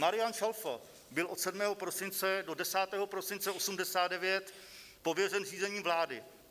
Marián Čalfa byl od 7. prosince do 10. prosince 1989 pověřen řízením vlády.